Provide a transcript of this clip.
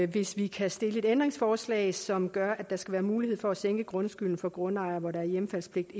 hvis vi kan stille et ændringsforslag som gør at der skal være mulighed for at sænke grundskylden for grundejere hvor der er hjemfaldspligt